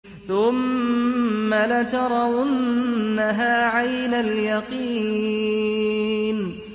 ثُمَّ لَتَرَوُنَّهَا عَيْنَ الْيَقِينِ